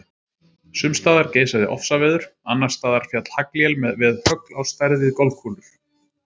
Sums staðar geisaði ofsaveður, annars staðar féll haglél með högl á stærð við golfkúlur.